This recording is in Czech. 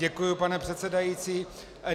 Děkuji, pane předsedající.